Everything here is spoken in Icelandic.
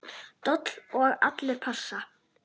Dobl og allir pass.